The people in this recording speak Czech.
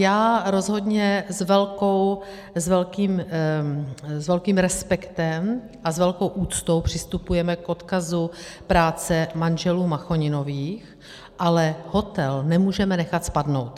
Já rozhodně s velkým respektem a s velkou úctou přistupuji k odkazu práce manželů Machoninových, ale hotel nemůžeme nechat spadnout.